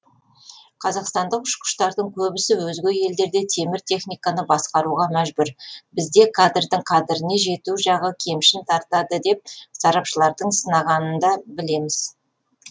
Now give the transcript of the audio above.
қазақстандық ұшқыштардың көбісі өзге елдерде темір техниканы басқаруға мәжбүр бізде кадрдің қадіріне жету жағы кемшін тартады деп сарапшылардың сынағанында білеміз